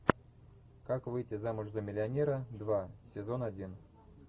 как выйти замуж за миллионера два сезон один